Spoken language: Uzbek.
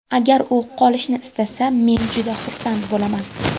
Agar u qolishni istasa, men juda xursand bo‘laman.